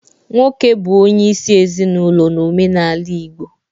Nwoke bụ isi ezinaụlọ n'omenala Igbo.